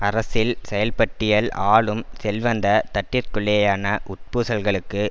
அரசில் செயல்பட்டியல் ஆளும் செல்வந்த தட்டிற்குள்ளேயான உட்பூசல்களுக்கு